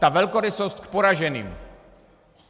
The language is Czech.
Ta velkorysost k poraženým.